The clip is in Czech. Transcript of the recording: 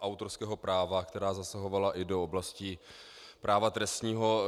autorského práva, která zasahovala i do oblasti práva trestního.